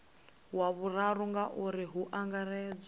wa vhuraru ngauri hu angaredzwa